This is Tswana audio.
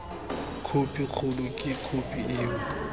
khophi kgolo ke khophi eo